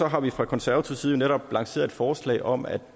har vi fra konservativ side netop lanceret et forslag om at